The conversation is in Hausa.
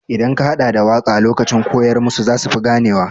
Idan ka haɗa da waƙa lokacin koyar musu zasu fi gane wa.